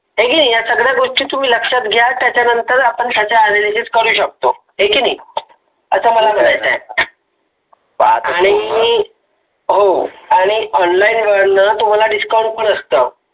हाय की नाही या सगळ्या गोष्टी तुम्ही लक्षात घ्या त्याच्या नंतर आपण त्याचा aranges करू शकतो. हाय की नाही. असं मला म्हणायचं आहे. आण online वरण तुम्हाला discount पण असतो.